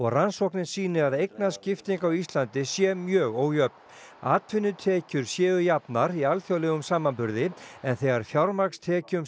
rannsóknin sýni að eignaskipting á Íslandi sé mjög ójöfn atvinnutekjur séu jafnar í alþjóðlegum samanburði en þegar fjármagnstekjum